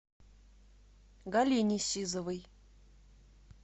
галине сизовой